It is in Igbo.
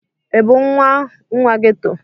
Ị bụ nwa nwa geto?